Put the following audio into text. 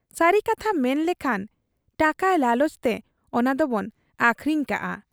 ᱥᱟᱹᱨᱤ ᱠᱟᱛᱷᱟ ᱢᱮᱱ ᱞᱮᱠᱷᱟᱱ ᱴᱟᱠᱟ ᱞᱟᱞᱚᱪ ᱛᱮ ᱚᱱᱟ ᱫᱚᱵᱚᱱ ᱟᱹᱠᱷᱨᱤᱧ ᱠᱟᱫ ᱟ ᱾